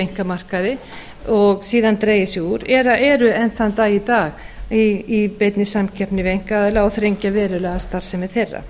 einkamarkaði og síðan dregið sig úr eða eru enn þann dag í dag í beinni samkeppni við einkaaðila og þrengja verulega að starfsemi þeirra